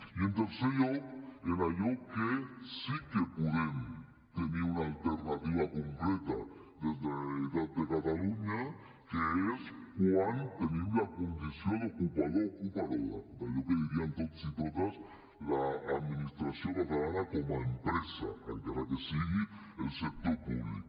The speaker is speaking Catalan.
i en tercer lloc en allò que sí que podem tenir una alternativa concreta de la generalitat de catalunya que és quan tenim la condició d’ocupador o ocupadora d’allò que dirien tots i totes l’administració catalana com a empresa encara que sigui el sector públic